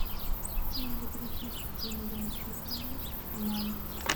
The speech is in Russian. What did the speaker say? надо перечислить деньги на телефон маме